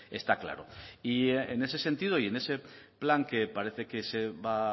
está claro y en ese sentido y en ese plan que parece que se va a